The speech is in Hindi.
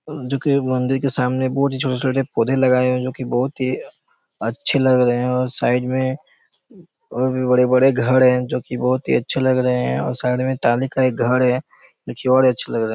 जो कि बंदी के सामने बहुत ही छोटे-छोटे पौधे लगाए हुए हैं जो की बहुत ही अच्छे लग रहे हैं और साइड में और भी बड़े-बड़े घर हैं जो की बहुत ही अच्छे लग रहे हैं और साइड में टाली का एक घर हैं जो की बड़े अच्छे लग रहे--